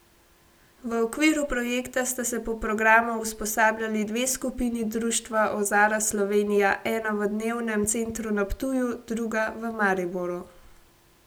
V okviru projekta sta se po programu usposabljali dve skupini Društva Ozara Slovenija, ena v dnevnem centru na Ptuju, druga v Mariboru.